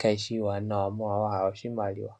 kaayishi iiwanawa molwa wahala iimaliwa.